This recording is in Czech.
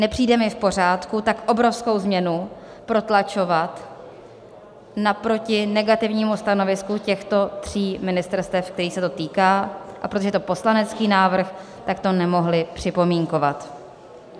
Nepřijde mi v pořádku tak obrovskou změnu protlačovat naproti negativnímu stanovisku těchto tří ministerstev, kterých se to týká, a protože je to poslanecký návrh, tak to nemohli připomínkovat.